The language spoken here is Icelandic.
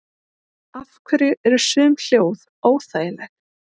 Af hverju eru sum hljóð óþægileg?